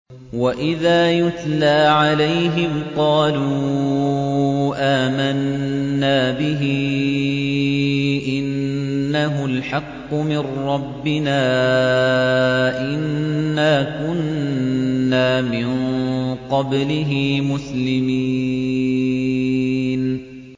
وَإِذَا يُتْلَىٰ عَلَيْهِمْ قَالُوا آمَنَّا بِهِ إِنَّهُ الْحَقُّ مِن رَّبِّنَا إِنَّا كُنَّا مِن قَبْلِهِ مُسْلِمِينَ